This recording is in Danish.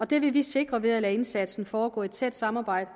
det vil vi sikre ved at lade indsatsen foregå i et tæt samarbejde